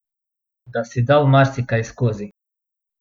Da si dal marsikaj skozi.